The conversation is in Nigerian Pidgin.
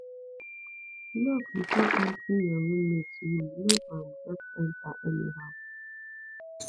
knock before entering your roommates room no um just enter anyhow